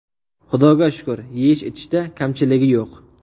Xudoga shukur, yeyish-ichishda kamchiligi yo‘q.